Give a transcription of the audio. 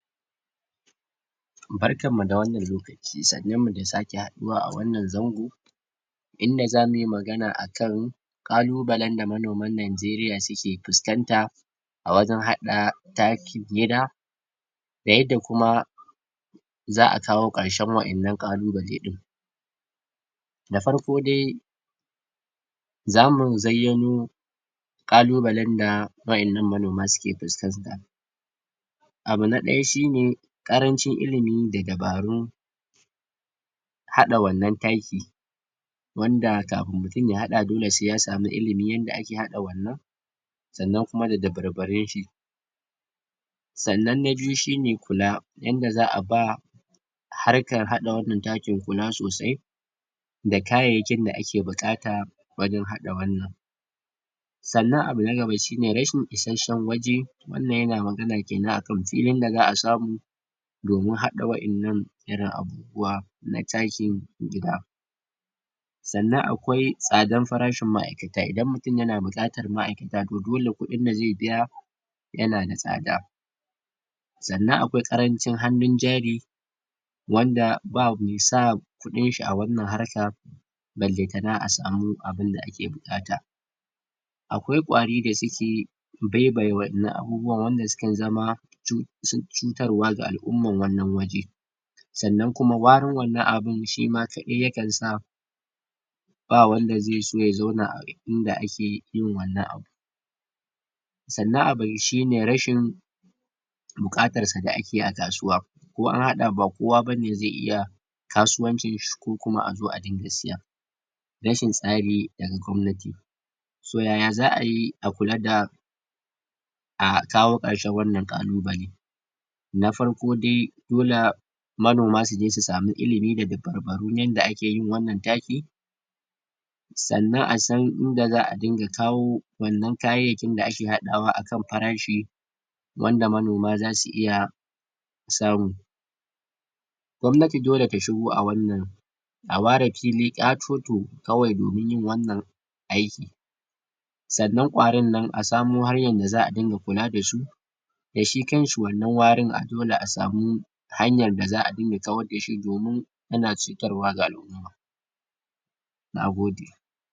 barkamu da wanan lokaci sannu mu da sake haɗuwa a wanan zango inda zamuyi magana akan ƙalubalan da manoman nigeria suke fuskan ta awajan hɗa takin yada da yanda kuma za'a kawo ƙarshan wainnan ƙalu bale din da farko dai zamu zayyano ƙalu balan da wainnan manoma suke fuskan ta abu naɗaya shine ƙarancin ilimi dadabarun haɗa wannan taki wanda kafin mutun ya haɗa dole sai yasamu ilimin yanda ake haɗa wannan sannan kuma da dabarbarun shi sannan a biyu shine kula yanda za'a ba harkan haɗa wannan taki kula sosai da kayyakin da aki buƙata wajan haɗa wannan sannan abu na daba shine rashin ishashan waje wannan yana magana kinan akan filin daza'a samu domin haɗa wainnan irin abubuwa na takin gida sannan akwai tsadan farashin maikata idan mutun yana buƙatar ma aikata to dole kuɗin dazai biya yanada tsada sannan akwai karancin hanu jari wanda bamai sa kudinshi a wannan harka balan tana asamu abinda ake buƙata akwai ƙwari dasuke baibaye wainnan abubuwa wanda sukan zama uhm cutarwa ga al'umman wannan waja sannan kuma warin wannan abun shima kaɗai yakan dsa ba wanda zai so ya zauna inda akiyin wannan abun sannan abun shine rashin buƙarar su da ake a kasuwa ko anhaɗa ba kowa bane zai iya kasuwancin shi kokuma azo iringa siya rahin tsari daga gwamnati so yaya za'ayi akula da akawo ƙarshan wannan ƙalubale nafarko dai dola manoma suja su samu ilimi da dabarbaru yanda akiyin wannan taki sannan asan inda za'a dinga kawo wannan kayayakin da aki haɗawa akan farashi wanda manoma zasu iya samu gwamnati dole ta shigo a wannan a ware fili ƙatoto kawai domin yin wannan aiki sannan ƙwarin nan asamo hanyan da za'a ringa kula dasu dashi kanshi wannan warin dole asamu hanyan daza'a dinga kwardashi domin yana cutarwa ga al'umma nagode